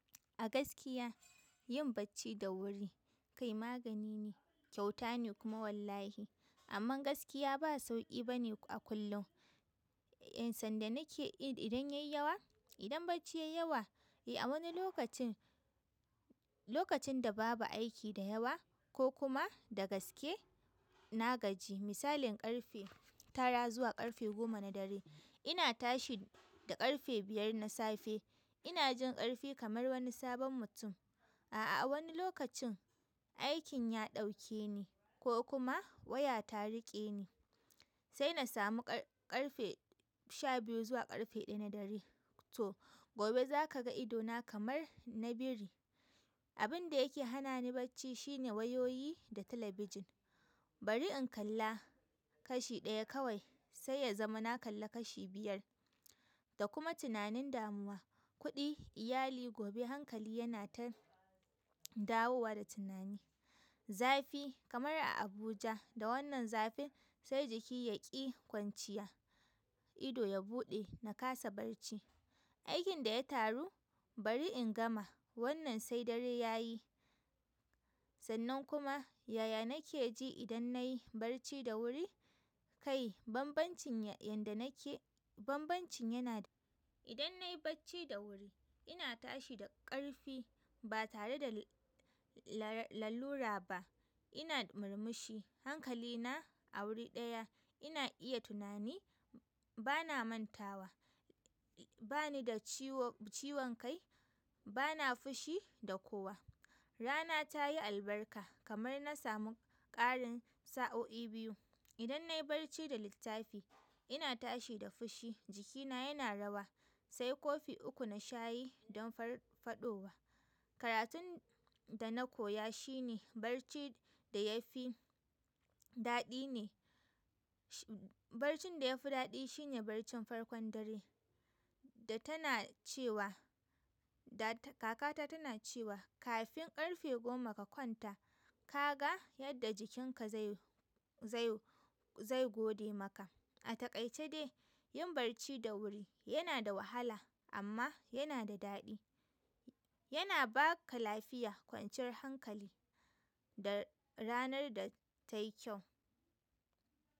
A gaskiya yin bacci da wuri kai magani ne, kyauta ne kuma wallahi. Amma gaskiya ba sauƙi bane a kullum. Ehn, sanda nake yi idan ya yi yawa, idan bacci ya yi yawa, eh a wani lokacin, lokacin da babu aiki da yawa ko kuma da gaske na gaji. Misalin ƙarfe tara zuwa ƙarfe goma na dare ina tashi da ƙarfe biyar na safe ina jin ƙarfi kamar wani sabon mutum. A'a, a wani lokacin aikin ya ɗauke ni ko kuma waya ta riƙe ni sai na samu ƙar-ƙarfe sha biyu zuwa ƙarfe ɗaya na dare. To gobe za ka ga idona kamar na biri. Abin da yake hana ni bacci shine wayoyi da talabijin. Bari in kalla kashi ɗaya kawai sai ya zama na kalla kashi biyar da kuma tunanin damuwa, kuɗi, iyali gobe hankali yana ta dawowa da tunani. Zafi kamar a Abuja da wannan zafin sai jiki ya ƙi kwanciya, ido ya buɗe na ƙasa barci. Aikin da ya taru bari in gama wannan sai dare ya yi. Sannan kuma yaya nake ji idan na yi bacci da wuri? Kai banbancin yadda nake, banbancin yana, idan nayi bacci da wuri ina tashi da ƙarfi ba tare da lalura ba. Ina murmushi, hankalina a wuri ɗaya ina iya tunani, bana mantawa, bani da ciwo-ciwon kai, bana fushi da kowa. Rana ta yi albarka kamar na samu ƙarin sa'o'i biyu. Idan na yi bacci da littafi ina tashi da fushi jikina yana rawa sai kofi uku na shayi don far-faɗowa. Karatun da na koya shi ne bacci da ya fi daɗi ne, baccin da ya fi daɗi shine baccin farkon dare da tana cewa da, kakata tana cewa kafin ƙarfe goma ka kwanta ka ga yadda jikinka zai-zai-zai gode maka. A takaice dai yin bacci da wuri yana da wahala amma yana da daɗi. Yana baka lafiya, kwanciyar hankali da ranar da ta yi kyau.